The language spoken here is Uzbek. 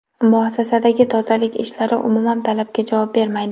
Muassasadagi tozalik ishlari umuman talabga javob bermaydi.